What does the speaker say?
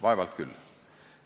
Vaevalt küll.